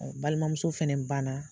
Balima muso fɛnɛ ban na.